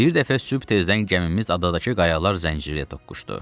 Bir dəfə sübh tezdən gəmimiz adadakı qayalar zəncirinə toxuşdu.